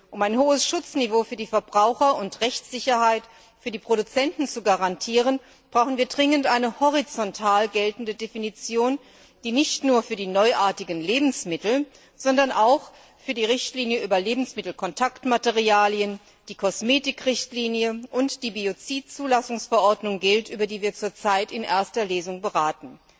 Um ein hohes Schutzniveau für die Verbraucher und Rechtssicherheit für die Produzenten zu garantieren, brauchen wir dringend eine horizontal geltende Definition, die nicht nur für die neuartigen Lebensmittel, sondern auch für die Richtlinie über Lebensmittelkontaktmaterialien, die Kosmetikrichtlinie und die Biozidzulassungsverordnung gilt, über die wir zur Zeit in erster Lesung beraten.